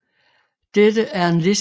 Dette er en liste over månekratere